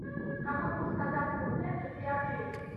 какой курс казахского тенге при обмене